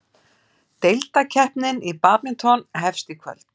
Deildakeppnin í badminton hefst í kvöld